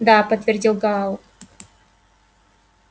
да подтвердил гаал